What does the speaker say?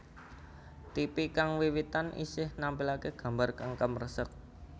Tipi kang wiwitan isih nampilake gambar kang kemresek